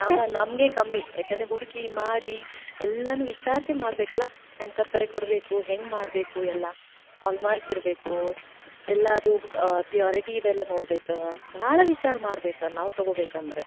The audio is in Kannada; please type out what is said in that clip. ನಾವ್, ನಮ್ಗೆ ಕಮ್ಮಿ. ಯಾಕಂದ್ರೆ ಹುಡ್ಕಿ ಮಾಡಿ, ಎಲ್ಲಾನೂ ವಿಚಾರ್ಸಿ ಮಾಡಬೇಕಲಾ ಎಂತವ್ರ ಕಡೆ ಕೊಡ್ಬೇಕು ಹೆಂಗ್ ಮಾಡ್ಬೇಕು ಎಲ್ಲಾ. Hallmark ಇರ್ಬೇಕು, ಎಲ್ಲಾದು ಪ~ purity ಇದ ಎಲ್ಲಾ ನೋಡ್ಬೇಕ. ಭಾಳ ವಿಚಾರ ಮಾಡ್ಬೇಕ ನಾವ್ ತಗೋಬೇಕಂದ್ರ.